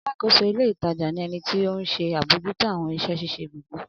Alákóso ilé ìtajà ni ẹnití ohun se abojuto àwọn iṣẹ́ ṣíṣe gbogbo.